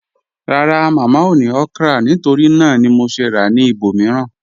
Rárá, Mámá ò ní okra nítorí nàà ni mò ṣè rà ní ìbòmíìran.